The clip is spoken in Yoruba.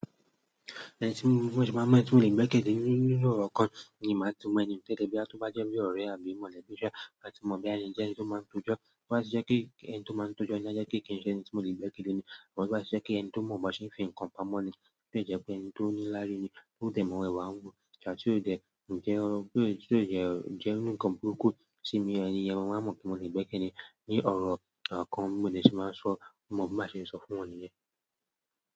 Ẹni tí ń mú bí wọ́n she máa mọ èsì tí ó lè gbé kéle nínú orò kan ni máa túmọ̀ ní. Bóyá tó be jẹ́ bí ọ̀rẹ́ abo mọ̀lẹ́bí, oje ẹni tio man rojọ́ tó bá ti jẹ́ pé ẹnití ó man tó jo, aje wípé koki she ẹnití mo lè gbẹ́kẹ̀lé gidi ni ṣùgbọ́n tó báṣe jẹ́ pé ẹni tó mo bí a ṣe ń fi ń kanpa mọ́ ni. Tí ó jẹ́ pé ẹni tó ní lári ni, tó dẹ̀ mọ̀ ìwà ń wù, tí ó dẹ̀ ǹjẹ́ ohun tí ó dẹ̀ jẹ́ oní nǹkan burúkú sí mi, ẹni yẹn máa mọ̀ pé mo pè mole gbé kele ní ọ̀rọ̀ kan mode shi máa sọ mọ́ bí ma ṣe sọ fún wọ́n nìyẹn.